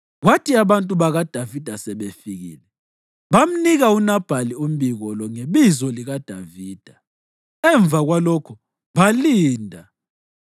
Kwathi abantu bakaDavida sebefikile, bamnika uNabhali umbiko lo ngebizo likaDavida. Emva kwalokho balinda.